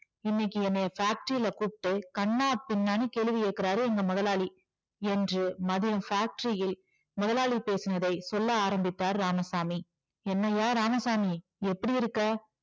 இன்னைக்கு என்னைய factory ல கூப்பிட்டு கன்னாபின்னான்னு கேள்வி கேக்குறாரு எங்க முதலாளி என்று மதியம் factory இல் முதலாளி பேசினதை சொல்ல ஆரம்பித்தார் இராமசாமி என்னய்யா இராமசாமி எப்படி இருக்க?